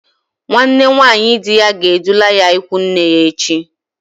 Nwanne nwaanyi di ya ga-edula ya ịkwụ nne ya echi.